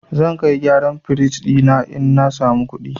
Zan kai gyaran firij ɗina idan na samu kuɗi.